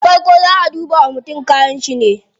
Da farko zaa a duba wa mutum kayanshi ne